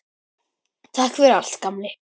Takk fyrir allt, gamli.